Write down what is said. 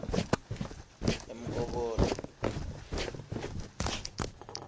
emkobola